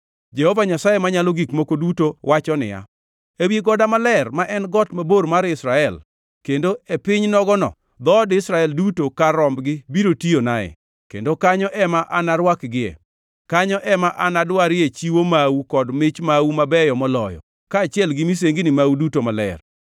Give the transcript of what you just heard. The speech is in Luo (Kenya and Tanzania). Jehova Nyasaye Manyalo Gik Moko Duto wacho niya: Ewi goda maler, ma en got mabor mar Israel, kendo e piny nogono, dhood Israel duto kar rombgi biro tiyonae, kendo kanyo ema anarwakgie. Kanyo ema anadwarie chiwo mau kod mich mau mabeyo moloyo, kaachiel gi misengni mau duto maler.